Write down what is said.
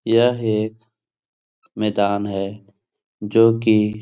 यह एक मैदान है जो कि --